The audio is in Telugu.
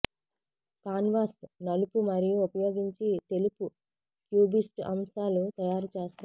కాన్వాస్ నలుపు మరియు ఉపయోగించి తెలుపు క్యూబిస్ట్ అంశాలు తయారు చేస్తారు